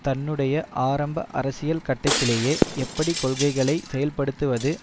தன்னுடைய ஆரம்ப அரசியல் கட்டத்திலேயே எப்படி கொள்கைகளை செயல்படுத்துவது